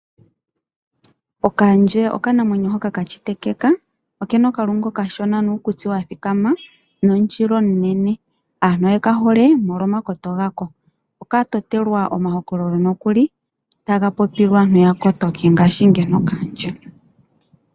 Okaandje okanamwenyo hoka ka shitetekeka . Okena okalungu okashona nuukutsi wa thikama noshila omunene. Aantu oye ka hole mo lo makoto ga ko. Oka totelwa omahokololo nokuli taga popilwa aantu ya kotoke ngaashi ngeno okaandje.